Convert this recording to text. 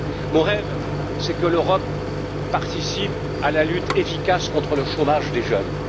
Mon rêve, c'est que l'Europe participe à la lutte efficace contre le chômage des jeunes.